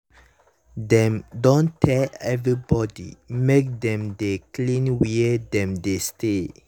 dem don tell everybody make dem dey clean where dem dey steady.